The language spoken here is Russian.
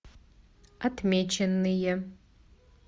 отмеченные